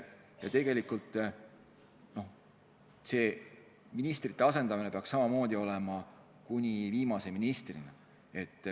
Ja tegelikult see ministrite asendamine peaks samamoodi olema ette nähtud kuni viimase ministrini.